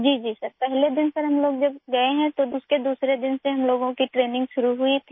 जी sir पहले दिन sir हम लोग जब गए हैं तब उसके दूसरे दिन से हम लोगों की ट्रेनिंग शुरू हुई थी